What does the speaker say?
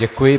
Děkuji.